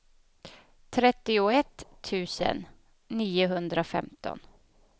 trettioett tusen niohundrafemton